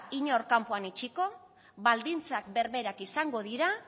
inork kanpoan utziko baldintzak berberak izango dira